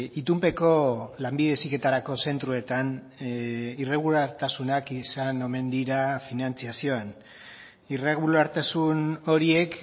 itunpeko lanbide heziketarako zentroetan irregulartasunak izan omen dira finantzazioan irregulartasun horiek